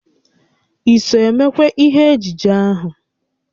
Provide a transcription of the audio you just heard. I so emekwa ihe ejije ahụ?